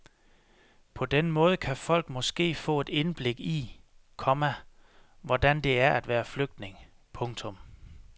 På den måde kan folk måske få et indblik i, komma hvordan det er at være flygtning. punktum